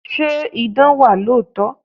Ṣé idán wà lóòótọ́?